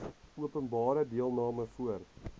openbare deelname voor